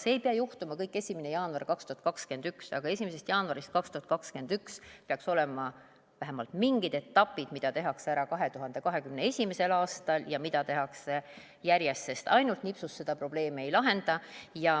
See ei pea juhtuma kõik 1. jaanuar 2021, aga 1. jaanuarist 2021 peaks olema vähemalt mingid etapid, mida tehakse ära 2021. aastal ja mida tehakse järjest, sest ainult nipsust seda probleemi ei lahenda.